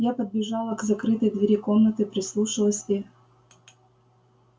я подбежала к закрытой двери комнаты прислушалась и